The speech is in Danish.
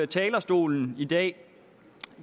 talerstolen i dag